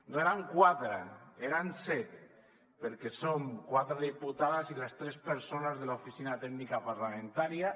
no eren quatre eren set perquè som quatre diputades i les tres persones de l’oficina tècnica parlamentària